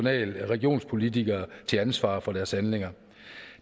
regionspolitikere til ansvar for deres handlinger